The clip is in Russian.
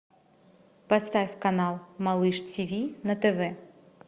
поставь канал малыш тв на тв